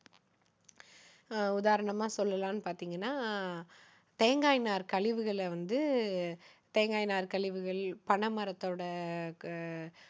அஹ் உதாரணமா சொல்லலான்னு பார்த்தீங்கன்னா, தேங்காய் நார் கழிவுகளை வந்து தேங்காய் நார் கழிவுகள், பனை மரத்தோட